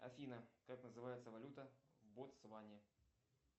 афина как называется валюта в ботсване